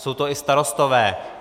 Jsou to i starostové.